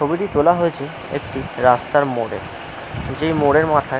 ছবিটি তোলা হয়েছে একটি রাস্তার মোড়ে। যে মোড় এর মাথায়--